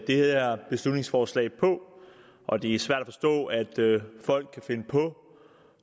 det her beslutningsforslag på og det er svært at forstå at folk kan finde på